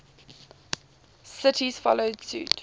cities follow suit